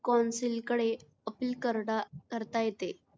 Council कडे appeal करता करता येते.